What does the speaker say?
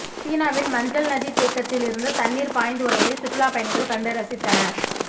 சீனாவின் மஞ்சள் நதி தேக்கத்தில் இருந்து தண்ணீர் பாய்ந்து வருவதை சுற்றுலா பயணிகள் கண்டு ரசித்தனர்